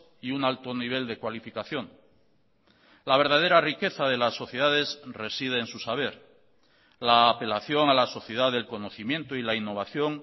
y un alto nivel de cualificación la verdadera riqueza de las sociedades reside en su saber la apelación a la sociedad del conocimiento y la innovación